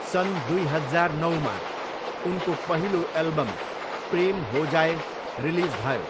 सन् दुई हजार नौमा, उनको पहिलो एल्बम, प्रेम हो जाये, रिलिज भयो।